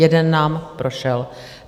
Jeden nám prošel.